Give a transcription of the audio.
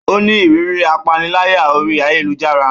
Ó ní ìrírí ìpániláyà orí ayélujára